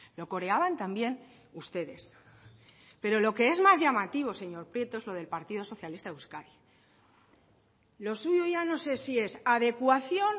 lo coreaban también ustedes pero lo que es más llamativo señor prieto es lo del partido socialista de euskadi lo suyo ya no sé si es adecuación